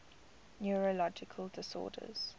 neurological disorders